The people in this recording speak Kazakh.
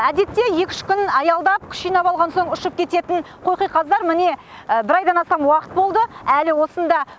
әдетте екі үш күн аялдап күш жинап алған соң ұшып кететін қоқиқаздар міне бір айдан астам уақыт болды әлі осында